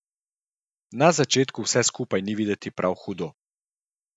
Na začetku vse skupaj ni videti prav hudo.